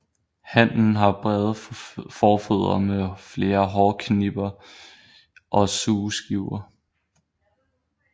Hannen har brede forfødder med flere hårknipper og sugeskiver